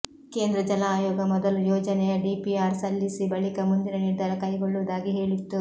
ಕೇಂದ್ರ ಜಲ ಆಯೋಗ ಮೊದಲು ಯೋಜನೆಯ ಡಿಪಿಆರ್ ಸಲ್ಲಿಸಿ ಬಳಿಕ ಮುಂದಿನ ನಿರ್ಧಾರ ಕೈಗೊಳ್ಳುವುದಾಗಿ ಹೇಳಿತ್ತು